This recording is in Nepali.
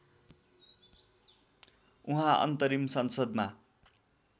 उहाँ अन्तरिम संसदमा